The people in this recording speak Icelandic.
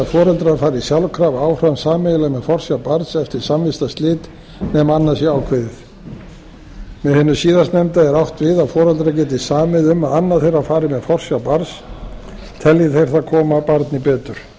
foreldrar fari sjálfkrafa áfram sameiginlega með forsjá barns eftir samvistarslit nema að annað sé ákveðið með hinu síðastnefnda er átt við að foreldrar geti samið um að annað þeirra fari með forsjá barns telji þeir það koma barni betur en